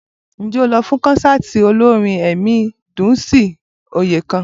Ǹjẹ́ o lọ fún kọ́nsáàti olórin ẹ̀mí Dùnńsìn Oyèkàn?